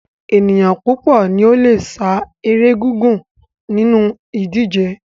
Ènìyàn púpọ̀ ní o le sá eré gígùn nínú ìdíje